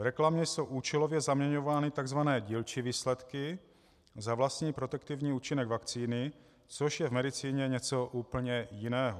V reklamě jsou účelově zaměňovány tzv. dílčí výsledky za vlastní protektivní účinek vakcíny, což je v medicíně něco úplně jiného.